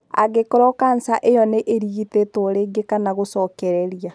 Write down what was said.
Angĩkorũo kanca ĩcio nĩ ĩrigitĩtwo rĩngĩ kana gũcokereria .